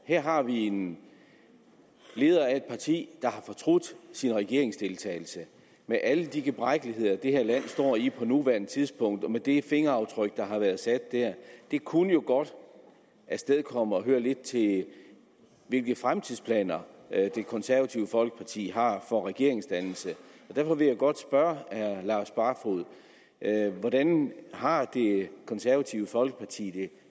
her har vi en leder af et parti der har fortrudt sin regeringsdeltagelse med alle de gebrækkeligheder det her land står i på nuværende tidspunkt og med det fingeraftryk der har været sat der det kunne jo godt afstedkomme at vil høre lidt til hvilke fremtidsplaner det konservative folkeparti har for regeringsdannelse derfor vil jeg godt spørge herre lars barfoed hvordan har det konservative folkeparti det